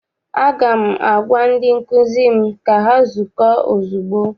Aga m agwa ndị nkụzi m ka ha zukọọ ozugbo!